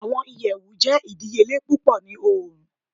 Awọn iyẹwu jẹ idiyele pupọ ni Oorun